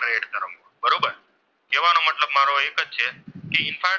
કે ઇન્ફ્રારેડ,